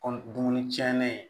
Kɔmi dumuni tiɲɛnen